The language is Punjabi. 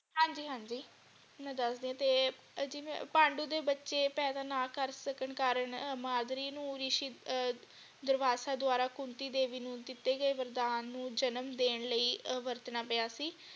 ਹਾਂਜੀ ਹਾਂਜੀ ਮੈਂ ਦਸਦੀ ਤੇ ਜਿਵੇਂ ਪਾਂਡਵ ਦੇ ਬੱਚੇ ਪੈਦਾ ਨਾ ਕਰ ਸਕਣ ਕਾਰਨ ਮਾਦਰੀ ਨੂੰ ਰਿਸ਼ੀ ਅਹ ਦਰਵਾਸਾ ਦੁਆਰਾ ਕੁੰਤੀ ਦੇਵੀ ਨੂੰ ਦਿਤੇ ਗਏ ਵਰਦਾਨ ਜਨਮ ਦੇਣ ਲਈ ਵਰਤਣਾ ਪਿਆ ਸੀ।